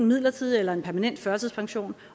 midlertidig eller permanent førtidspension